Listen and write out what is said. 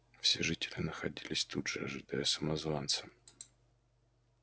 все жители находились тут же ожидая самозванца